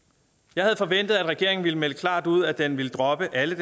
jeg havde forventet at regeringen ville melde klart ud at den ville droppe alle